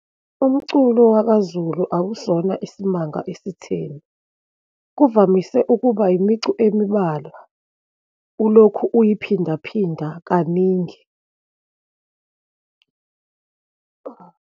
Umculo wakaZulu akusona isimanga esitheni, kuvamise ukuba imicu emibalwa, ulokhu uyiphindaphinda kaningi.